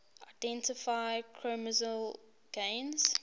identify chromosomal gains